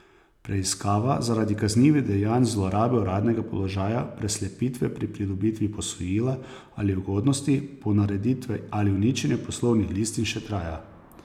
Preiskava zaradi kaznivih dejanj zlorabe uradnega položaja, preslepitve pri pridobitvi posojila ali ugodnosti, ponareditve ali uničenja poslovnih listin še traja.